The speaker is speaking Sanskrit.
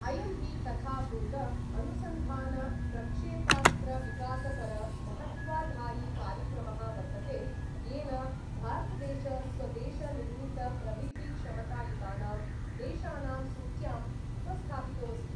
अयं हि तथाभूत अनुसन्धानप्रक्षेपास्त्रविकासपर महत्त्वाधायिकार्यक्रमः वर्तते, येन भारतदेश स्वदेशनिर्मितप्रविधिक्षमतायुतानां देशानां सूच्याम् उपस्थापितोऽस्ति।